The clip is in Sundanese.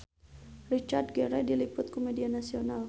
Richard Gere diliput ku media nasional